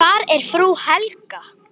Hvar er frú Helga?